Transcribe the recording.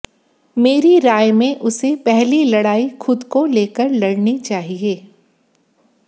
मेरी राय में उसे पहली लड़ाई खुद को लेकर लड़नी चाहिए